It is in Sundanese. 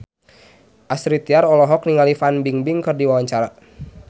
Astrid Tiar olohok ningali Fan Bingbing keur diwawancara